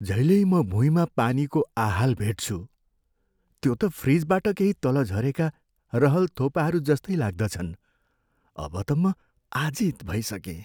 जहिल्यै म भुइँमा पानीको आहाल भेट्छु, त्यो त फ्रिजबाट केही तल झरेका रहल थोपाहरूजस्तै लाग्दछन्। अब त म आजित भइसकेँ।